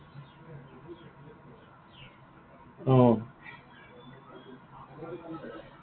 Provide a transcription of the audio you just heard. অ।